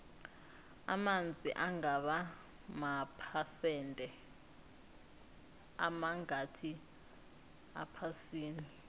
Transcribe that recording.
amanzi angaba maphesende amangakhi ephasini